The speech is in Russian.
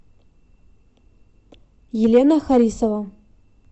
елена харисова